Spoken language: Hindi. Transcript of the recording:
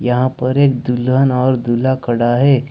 यहां पर एक दुल्हन और दूल्हा खड़ा है।